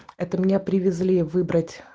это меня привезли выбрать